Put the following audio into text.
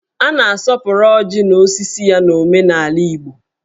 A na-asọpụrụ ọjị na osisi ya n'omenala Igbo.